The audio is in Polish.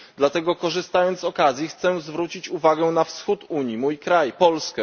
Dlatego, korzystając z okazji, chcę zwrócić uwagę na wschód Unii, mój kraj Polskę.